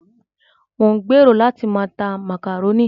Mò ń gbèrò láti máa ta màkàrónì.